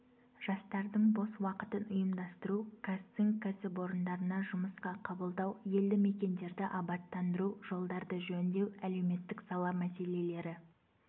жастардың бос уақытын ұйымдастыру қазцинк кәсіпорындарына жұмысқа қабылдау елді мекендерді абаттандыру жолдарды жөндеу әлеуметтік сала мәселелері